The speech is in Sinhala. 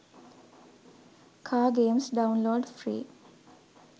car games download free